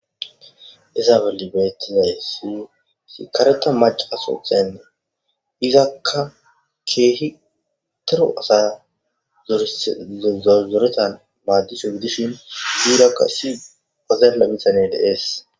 Isaabeli bettinay si si kareta maca asothaynna izakka keehi tero asa zzozoretan maaddishu gidishin duurakka si ozelabisane deees.